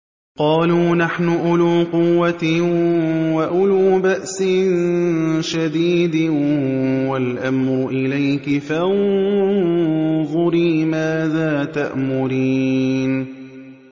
قَالُوا نَحْنُ أُولُو قُوَّةٍ وَأُولُو بَأْسٍ شَدِيدٍ وَالْأَمْرُ إِلَيْكِ فَانظُرِي مَاذَا تَأْمُرِينَ